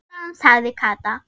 Sextán sagði Kata.